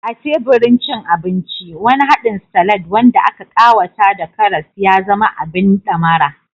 A teburin cin abinci, wani haɗin salad wanda aka ƙawata da karas ya zama abin ɗamara.